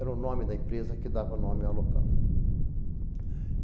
Era o nome da empresa que dava nome ao local.